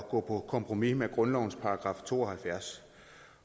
gå på kompromis med grundlovens § to og halvfjerds